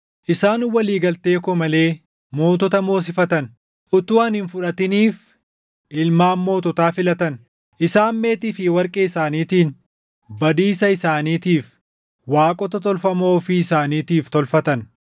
Isaan walii galtee koo malee mootota moosifatan; utuu ani hin fudhatiniif ilmaan moototaa filatan. Isaan meetii fi warqee isaaniitiin badiisa isaaniitiif waaqota tolfamoo ofii isaaniitiif tolfatan.